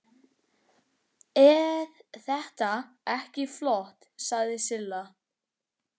Eð þetta ekki flott? sagði Silla.